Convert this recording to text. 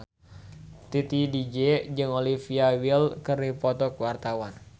Titi DJ jeung Olivia Wilde keur dipoto ku wartawan